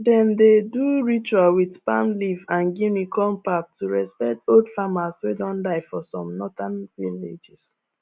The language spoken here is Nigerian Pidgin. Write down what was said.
dem dey do ritual with palm leaf and guinea corn pap to respect old farmers way don die for some northern villages